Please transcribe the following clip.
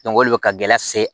o de bɛ ka gɛlɛya se